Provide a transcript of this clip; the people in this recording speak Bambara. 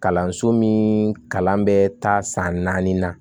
Kalanso min kalan bɛ taa san naani na